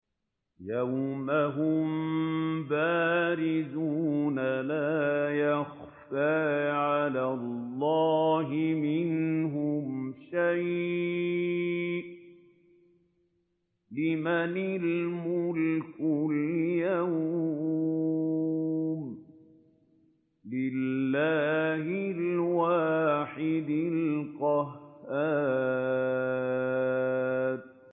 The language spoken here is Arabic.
يَوْمَ هُم بَارِزُونَ ۖ لَا يَخْفَىٰ عَلَى اللَّهِ مِنْهُمْ شَيْءٌ ۚ لِّمَنِ الْمُلْكُ الْيَوْمَ ۖ لِلَّهِ الْوَاحِدِ الْقَهَّارِ